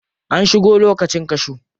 An shigo lokacin cashew.